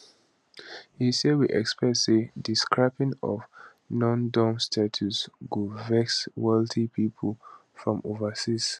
e say we expect say di scrapping of nondom status go vex wealthy people from overseas